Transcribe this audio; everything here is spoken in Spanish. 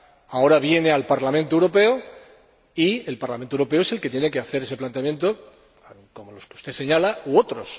Ahora viene al Parlamento Europeo y el Parlamento Europeo es el que tiene que hacer ese planteamiento, como los que usted señala, u otros.